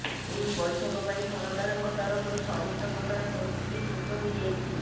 ଏହି ବୈଠକ ପାଇଁ ସରକାରଙ୍କ ତରଫରୁ ସମସ୍ତ ପ୍ରକାର ପ୍ରସ୍ତୁତି ଶେଷ ହୋଇଯାଇଛି